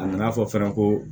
A nana fɔ fana ko